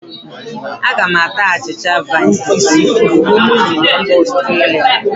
Aga m ata achịcha vina shinitsọl ozugbo m ruru mbà Ọstria.